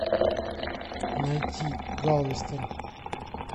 найти галвестон